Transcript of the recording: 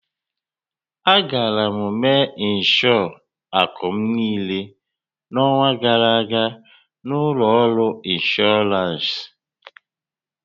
Agara m mee ịnshọọ akụ m niile n'ọnwa gara aga na ụlọ ọrụ inshọransị.